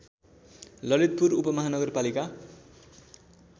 Lalitpur उपमाहानगरपालिका